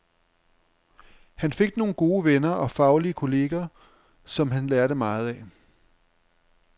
Han fik nogle gode venner og faglige kolleger, som han lærte meget af.